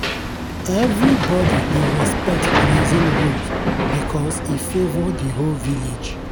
everybody dey respect grazing rules because e favour the whole village.